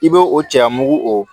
I b'o o cɛya mugu o